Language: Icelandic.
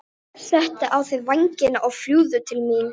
Settu á þig vængina og fljúgðu til mín.